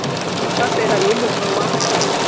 fa fela yo mongwe wa